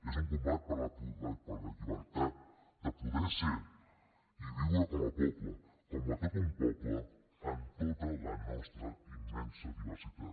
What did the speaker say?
és un combat per la llibertat de poder ser i viure com a poble com tot un poble en tota la nostra immensa diversitat